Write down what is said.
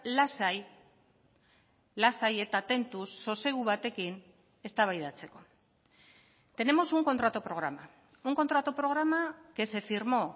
lasai lasai eta tentuz sosegu batekin eztabaidatzeko tenemos un contrato programa un contrato programa que se firmó